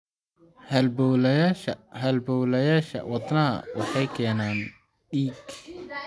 Halbowlayaasha halbowlayaasha wadnaha waxay keenaan dhiig.